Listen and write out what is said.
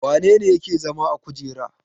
Wane ne yake zama a kujera?